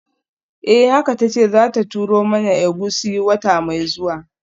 Eh kaka tace zata turo mana egusi wata mai zuwa.